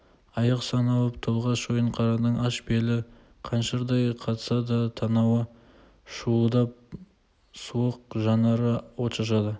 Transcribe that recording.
аяқ сан алып тұлға шойынқараның аш белі қаншырдай қатса да танауы шуылдап суық жанары от шашады